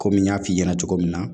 Komi n y'a f'i ɲɛna cogo min na